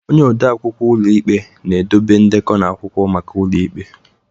Onye odeakwụkwọ ụlọ ikpe na-edobe ndekọ na akwụkwọ maka ụlọ ikpe.